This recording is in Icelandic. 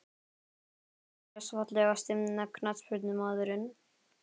Dagný Brynjars Fallegasti knattspyrnumaðurinn?